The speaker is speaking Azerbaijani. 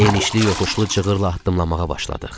Enişli yoxuşlu cığırlı atdımlamağa başladıq.